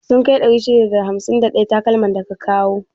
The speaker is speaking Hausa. Sun kai 651 takalman da ka kawa?